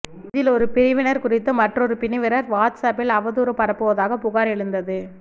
இதில் ஒரு பிரிவினர் குறித்து மற்றொரு பிரிவினர் வாட்ஸ்அப்பில் அவதூறு பரப்புவதாக புகார் எழுந்தது